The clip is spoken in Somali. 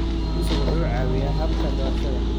Aqoonsigu wuxuu caawiyaa habka doorashada.